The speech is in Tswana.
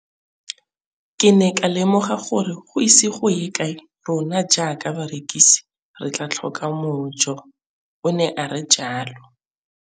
Ke ne ka lemoga gore go ise go ye kae rona jaaka barekise re tla tlhoka mojo, o ne a re jalo.